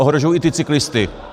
Ohrožují i ty cyklisty.